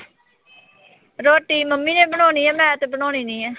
ਰੋਟੀ mummy ਨੇ ਬਣਾਉਣੀ ਆ ਮੈਂ ਤੇ ਬਣਾਉਣੀ ਨੀਂ ਆ।